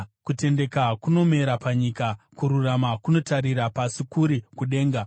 Kutendeka kunomera panyika, kururama kunotarira pasi kuri kudenga.